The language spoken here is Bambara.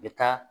I bɛ taa